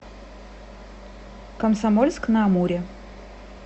комсомольск на амуре